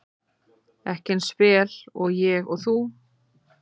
Ekki eins vel og ég og þú.